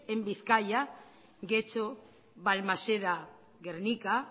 en bizkaia getxo balmaseda gernika